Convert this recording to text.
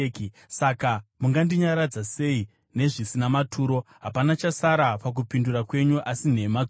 “Saka mungandinyaradza sei nezvisina maturo? Hapana chasara pakupindura kwenyu asi nhema dzoga!”